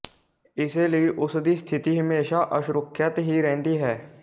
ਇਸੇ ਲਈ ਉਸ ਦੀ ਸਥਿਤੀ ਹਮੇਸ਼ਾ ਅਸੁਰੱਖਿਅਤ ਹੀ ਰਹਿੰਦੀ ਹੈ